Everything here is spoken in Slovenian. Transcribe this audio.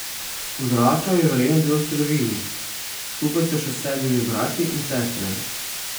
Odraščal je v revni delavski družini, skupaj s še sedmimi brati in sestrami.